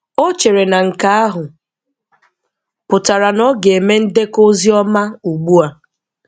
O chere na nke ahụ pụtara na ọ ga-eme ndekọ ozi ọma ugbu a.